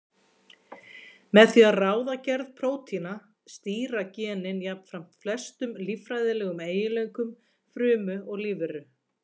Með því að ráða gerð prótína stýra genin jafnframt flestum líffræðilegum eiginleikum frumu og lífveru.